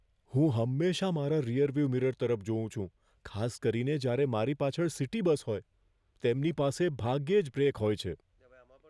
હું હંમેશાં મારા રીઅરવ્યૂ મિરર તરફ જોઉં છું, ખાસ કરીને જ્યારે મારી પાછળ સિટી બસ હોય. તેમની પાસે ભાગ્યે જ બ્રેક હોય છે.